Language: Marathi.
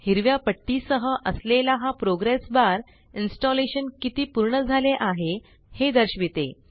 हिरव्या पट्टी सह असलेला हा प्रोग्रेस बार इन्स्टॉलेशन किती पूर्ण झाले आहे हे दर्शविते